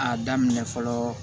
A daminɛ fɔlɔ